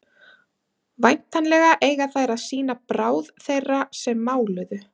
væntanlega eiga þær að sýna bráð þeirra sem máluðu